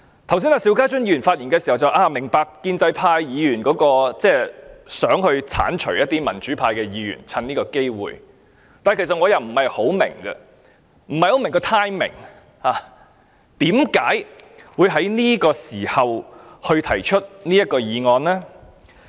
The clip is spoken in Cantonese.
邵家臻議員剛才發言時提到，他明白建制派議員想藉此機會剷除民主派議員，但我其實不太明白，我不太明白當中的 timing， 為何他們會在這個時候提出這項議案？